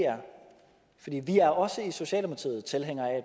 er for vi er også i socialdemokratiet tilhængere af at